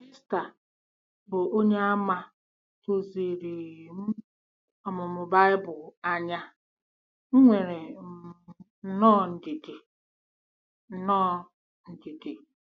Esther, bụ́ Onyeàmà duziri um m ọmụmụ Bible anya, nwere um nnọọ ndidi. nnọọ ndidi.